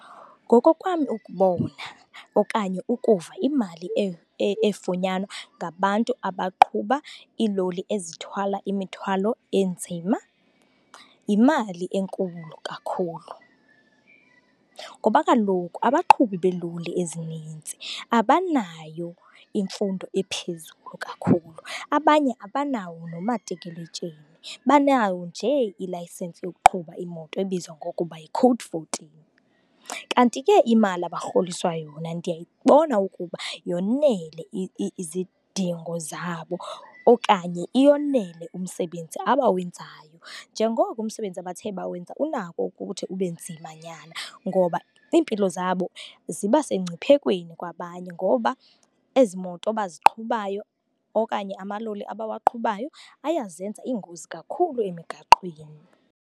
Ngokokwam ukubona okanye ukuva, imali efunyanwa ngabantu abaqhuba iiloli ezithwala imithwalo enzima yimali enkulu kakhulu. Ngoba kaloku abaqhubi beeloli ezininzi abanayo imfundo ephezulu kakhulu, abanye abanawo nomatikiletsheni, banawo nje ilayisensi yokuqhuba imoto ebizwa ngokuba yi-Code fourteen. Kanti ke imali abarholiswa yona ndiyayibona ukuba yonele izidingo zabo okanye iyonele umsebenzi abawenzayo. Njengoko umsebenzi abathe bawenza unako ukuthi ube nzimanyana ngoba iimpilo zabo ziba sengciphekweni kwabanye ngoba ezi moto baziqhubayo okanye amaloli abawaqhubayo, ayazenza iingozi kakhulu emigaqweni.